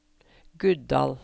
Guddal